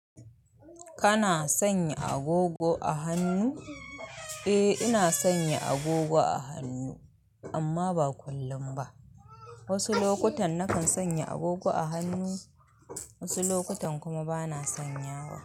Kana sanya agogo a hannu? Eh, ina sanya agogo a hannu amma ba kullum ba. Wasu lokutan na kan sanya agogo a hannu, wasu lokutan kuma bana sanyawa.